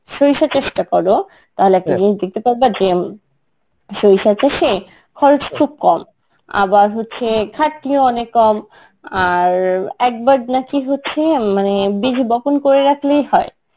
সরিষা চাষটা করো তাহলে একটা জিনিস দেখতে পারবা যে আমি সরিষা চাষে খরচ খুব কম, আবার হচ্ছে খাটনিও অনেক কম, আর একবার নাকি হচ্ছে উম মানে বীজ বপন করে রাখলেই হয়,